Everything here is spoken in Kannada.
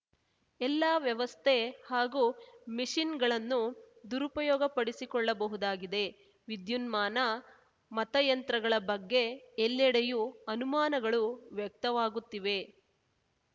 ಎಲ್ಲಾ ವ್ಯವಸ್ಥೆ ಹಾಗೂ ಮೆಷಿನ್‌ಗಳನ್ನು ದುರುಪಯೋಗಪಡಿಸಿಕೊಳ್ಳಬಹುದಾಗಿದೆ ವಿದ್ಯುನ್ಮಾನ ಮತಯಂತ್ರಗಳ ಬಗ್ಗೆ ಎಲ್ಲೆಡೆಯೂ ಅನುಮಾನಗಳು ವ್ಯಕ್ತವಾಗುತ್ತಿವೆ